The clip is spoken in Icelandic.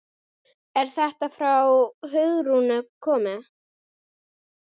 Er þetta frá Hugrúnu komið?